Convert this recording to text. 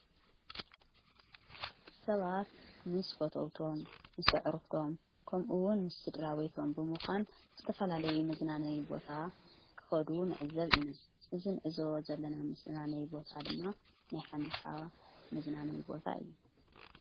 ሰባት ምስ ፈተውቶም ምስ ዕርኽቶም ከምኡውን ምስ ስድራ ቤይቶም ብምዃን ምስተፈላለዩ መዝናነዊ ቦታ ክኸዱ ንዕዘብ ኢነ እዝን እዞ ዘለና ምስናነይ ቦታ ድማ ናይ ሓምሳዋ መዝናነይ ቦታ እዩ::